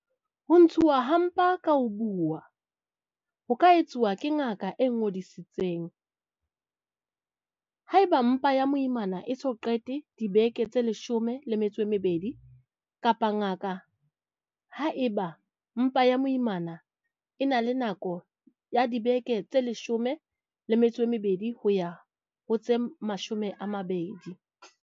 Ho ntshuwa ha mpa ka ho buuwa ho ka etswa ke mooki ya ingodisitseng. Haeba mpa ya moimana e so qete dibeke tse leshome le metso e mebedi, kapa ngaka haeba mpa ya moimana e na le nako ya dibeke tse leshome le metso e mebedi, ho ya ho tse mashome mabedi.